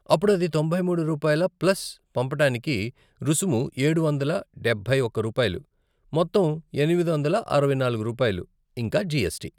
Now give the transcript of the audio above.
అప్పుడు అది తొంభై మూడు రూపాయల ప్లస్ పంపటానికి రుసుము ఏడు వందల డబ్బై ఒక్క రూపాయలు, మొత్తం ఎనిమిది వందల అరవై నాలుగు రూపాయలు, ఇంకా జీఎస్టీ.